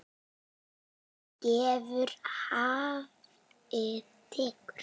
Hafið gefur, hafið tekur.